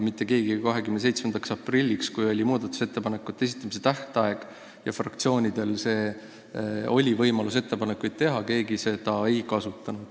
Mitte keegi 27. aprilliks, kui oli muudatusettepanekute esitamise tähtaeg ja fraktsioonidel oli võimalus ettepanekuid teha, seda võimalust ei kasutanud.